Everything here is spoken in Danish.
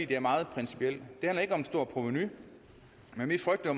det er meget principielt det handler ikke om et stort provenu men vi frygter